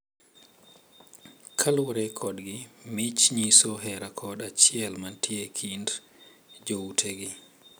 Kaluwore kodgi, mich nyiso hera kod achiel mantie e kind joutegi.